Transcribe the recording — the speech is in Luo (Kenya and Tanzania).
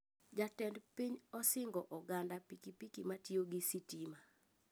Jatend piny osingo oganda pikipiki matiyo gi sitima